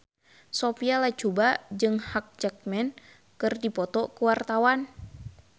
Sophia Latjuba jeung Hugh Jackman keur dipoto ku wartawan